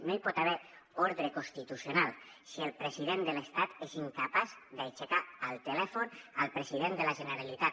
no hi pot haver ordre constitucional si el president de l’estat és incapaç d’aixecar el telèfon al president de la generalitat